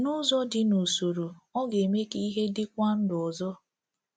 N’ụzọ dị n’usoro, ọ ga-eme ka ha dịkwa ndụ ọzọ.